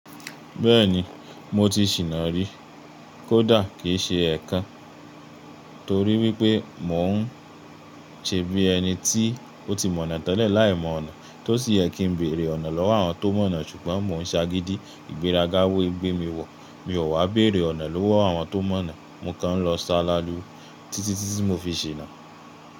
Bẹ́ẹ̀ni, mo ti ṣìná rí. Kódà kì í ṣe ẹ̀kan torí wípé mò ń ṣe bí ẹni tí ó ti mọ̀nà tẹ́lẹ̀ láìmọ̀ ọ̀nà. Tó sì yẹ kí ń bèrè ọ̀nà lọ́wọ́ àwọn tó mọ̀nà ṣùgbọ́n mò ń sagídí ìgbéraga wé gbé mi wọ̀. Mi ò wá bẹ̀rẹ̀ ọ̀nà lọ́wọ́ àwọn tó mọ̀nà. Mo kàn ń lọ sá lálu títí tí mo fi ṣinà.